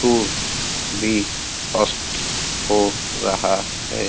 सु सूर्य भी अस्त हो रहा है।